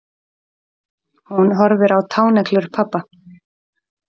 Hún horfir á táneglur pabba.